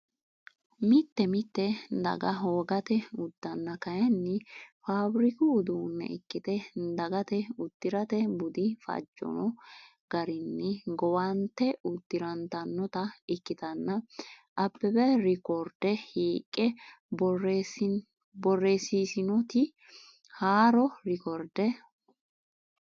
Mite mite daga wogate uddanna kayinni faafiriku uduunne ikkite dagate uddi’rate budi fajjanno garinni gowante uddi’rantannote, ikkitanna Abbebe reekoorde hiiqqe borreessiisinoti haaro reekkoorde?